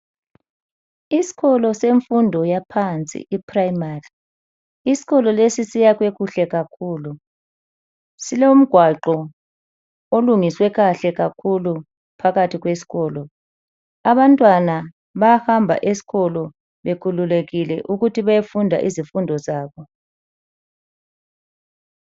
Isikolo semfundo yaphansi iprimary, isikolo lesi siyakhwe kuhle kakhulu, silomgwaqo olungiswe kahle kakhulu phakathi kwesikolo. Abantwana bayahamba eskolo bekhululekile ukuthi bayefunda izifundo zabo.